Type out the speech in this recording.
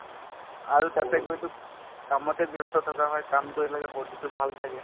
আৰু তাতে গৈ to কামতে ব্যস্ত থকা হয় কাম কৰিব লাগে body তো ভাল থাকে